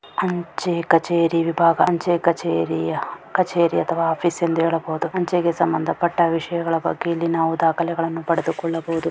ಅಂಚೆ ಕಛೇರಿ ವಿಭಾಗ ಅಂಚೆ ಕಛೇರಿಯ ಕಛೇರಿ ಅಥವಾ ಆಫೀಸ್ ಎಂದು ಹೇಳಬಹುದು. ಅಂಚೆಗೆ ಸಂಬಂಧಪಟ್ಟ ವಿಷಯಗಳ ಬಗ್ಗೆ ಇಲ್ಲಿ ನಾವು ದಾಖಿಲ್ಯ ಪಡದು ಕುಲ್ದಾಬಹೂದು.